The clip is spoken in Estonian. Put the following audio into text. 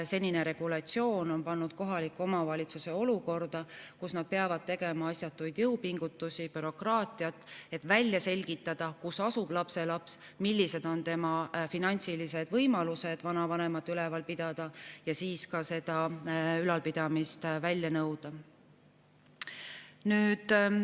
Senine regulatsioon on pannud kohaliku omavalitsuse olukorda, kus ta peab tegema asjatuid jõupingutusi, tegelema bürokraatiaga, et välja selgitada, kus asub lapselaps ja millised on tema finantsilised võimalused vanavanemat üleval pidada, ning siis ka ülalpidamist välja nõuda.